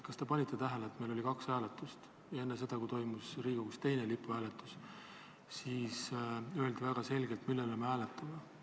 Kas te panite tähele, et meil oli kaks hääletust ja enne seda, kui toimus Riigikogus teine lipuhääletus, öeldi väga selgelt, mida me hääletame?